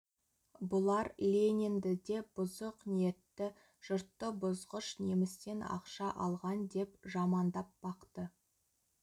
бұлар ленинді де бұзық ниетті жұртты бұзғыш немістен ақша алған деп жамандап бақты